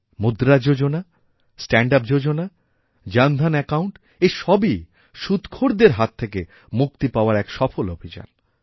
মুদ্রাযোজনা stand up যোজনা Jan Dhan account এই সবই সুদখোরদের হাত থেকে মুক্তিপাওয়ার এক সফল অভিযান